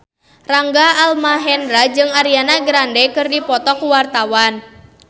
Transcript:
Rangga Almahendra jeung Ariana Grande keur dipoto ku wartawan